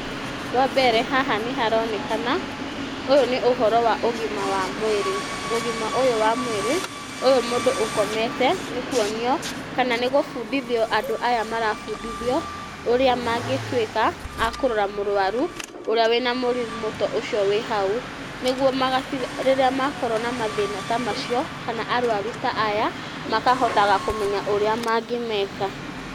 Wa mbere haha nĩ haronekana ũyũ nĩ ũhoro wa ũgima wa mwĩrĩ, ũgima ũyũ wa mwĩrĩ ũyũ nĩ mũndũ ũkomete, nĩ kuonio kana nĩ gũbundithio andũ aya marabundithio ũrĩa mangĩtuĩka akũrora mũrwaru ũrĩa wĩna mũrimũ ta ũcio wĩ hau , nĩguo rĩrĩa makorwo na mathĩna ta macio kana arwaru ta aya makahotaga kũmenya ũrĩa mangĩmeka.